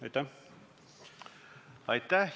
Aitäh!